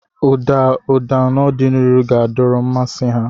Ụda ụda n'ọdịnihu ga-adọrọ mmasị ha.